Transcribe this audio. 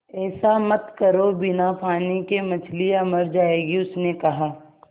ऐसा मत करो बिना पानी के मछलियाँ मर जाएँगी उसने कहा